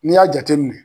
N'i y'a jateminɛ